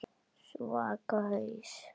Svaka haus.